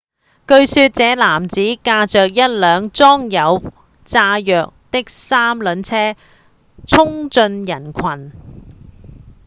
據說這名男子駕著一輛裝有炸藥的三輪車衝進人群